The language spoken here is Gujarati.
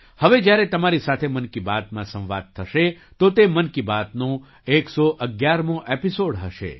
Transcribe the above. હવે જ્યારે તમારી સાથે મન કી બાતમાં સંવાદ થશે તો તે મન કી બાતનો 111મો એપિસૉડ હશે